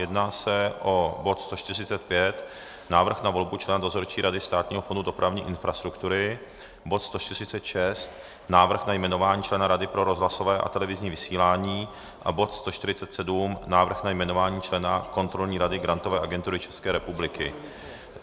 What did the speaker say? Jedná se o bod 145 - Návrh na volbu člena dozorčí rady Státního fondu dopravní infrastruktury, bod 146 - Návrh na jmenování člena Rady pro rozhlasové a televizní vysílání a bod 147 - Návrh na jmenování člena Kontrolní rady Grantové agentury České republiky.